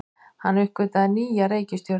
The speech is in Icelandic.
Hann uppgötvaði nýja reikistjörnu!